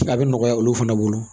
A bɛ nɔgɔya olu fana bolo